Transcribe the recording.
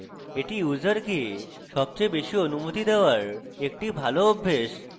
এটি ইউসারকে সবচেয়ে বেশী অনুমতি দেওয়ার একটি ভাল অভ্যাস